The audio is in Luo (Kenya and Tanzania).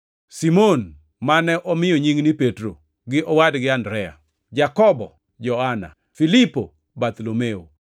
Simon (mane omiyo nying ni Petro); gi owadgi Andrea, Jakobo, Johana, Filipo, Bartholomayo,